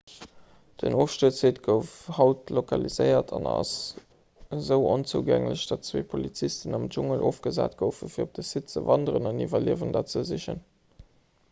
den ofstuerzsite gouf haut lokaliséiert an ass esou onzougänglech datt zwee polizisten am dschungel ofgesat goufen fir op de site ze wanderen an iwwerliewender ze sichen